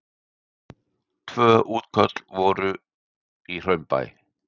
Tvö útköll í Hraunbæ